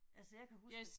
Altså jeg kan huske